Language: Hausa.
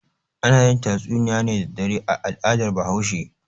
Ana yin tatsunniya ne da dare a al'adar Bahaushe.